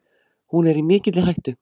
Hún er í mikilli hættu.